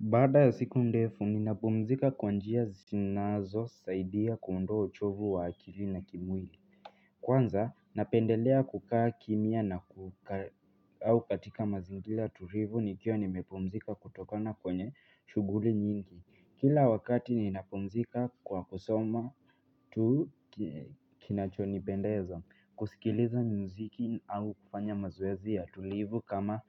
Baada ya siku ndefu, ninapumzika kwa njia zinazosaidia kuondoa uchovu wa akili na kimwili. Kwanza, napendelea kukaa kimya au katika mazingira tulivu nikiwa nimepumzika kutokana kwenye shughuli nyingi. Kila wakati ninapumzika kwa kusoma kitu kinachonipendeza. Kusikiliza muziki au kufanya mazoezi ya tulivu kama